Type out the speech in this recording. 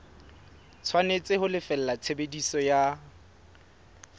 tshwanetse ho lefella tshebediso ya